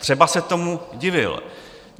Třeba se tomu divil.